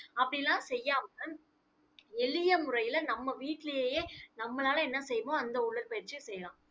அப்படி எல்லாம் செய்யாம எளிய முறையில, நம்ம வீட்டிலேயே நம்மளால என்ன செய்வோமோ அந்த உடற்பயிற்சியை செய்யலாம்